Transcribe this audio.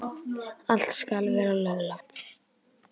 Allt skal vera löglegt.